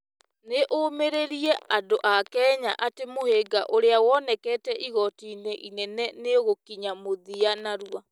Nĩ ũmĩrĩirie andũ a Kenya atĩ mũhĩnga ũrĩa wonekete igoti-inĩ inene nĩ ũgũkinya mũthia narua.